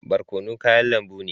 Barkono kayan lambu ne.